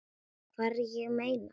Hvar, ég meina.